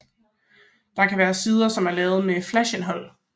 Det kan være sider som er lavet med flash indhold